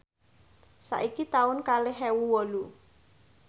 saiki taun kalih ewu wolu